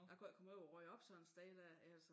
Jeg kunne ikke komme ud og rydde op sådan et sted dér altså